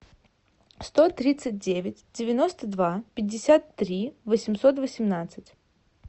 сто тридцать девять девяносто два пятьдесят три восемьсот восемнадцать